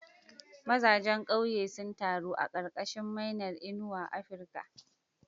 Villagers gathered under the African oil bean tree's shade.